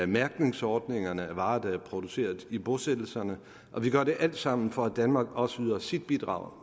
mærkningsordninger for varer der er produceret i bosættelserne og vi gør det alt sammen for at danmark også yder sit bidrag